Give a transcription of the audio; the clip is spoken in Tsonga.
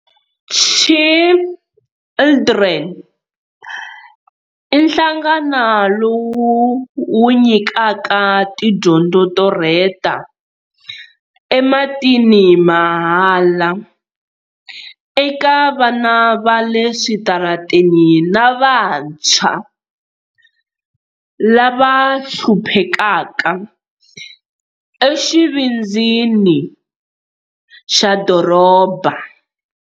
Children i nhlangano lowu wu nyikaka tidyondzo to rheta ematini mahala eka vana va le switarateni na vantshwa lava hluphekaka exivindzini xa doroba.